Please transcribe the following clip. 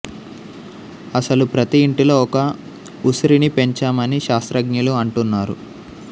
అసలు ప్రతి ఇంటిలో ఒక ఉసిరిని పెంచమని శాస్త్రజ్ఞులు అంటున్నారు